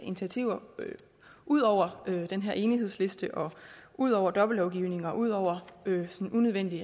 initiativer ud over den her enighedsliste ud over dobbeltlovgivning og ud over unødvendig